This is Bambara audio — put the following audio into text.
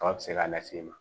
Kaba bɛ se k'a lase i ma